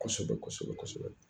Kɔsɔbɛ kɔsɔbɛ kɔsɔbɛ .